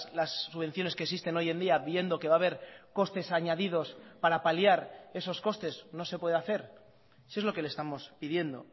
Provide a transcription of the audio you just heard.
las subvenciones que existen hoy en día viendo que va a haber costes añadidos para paliar esos costes no se puede hacer si es lo que le estamos pidiendo